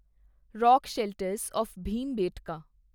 rock shelters of Bhimbetka